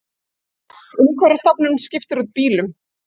Umhverfisstofnun skiptir út bílum